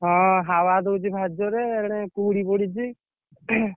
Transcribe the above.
ହଁ ହାୱା ଦଉଛି ଭାରି ଜୋରେ ଏଣେ କୁହୁଡି ପଡିଛି।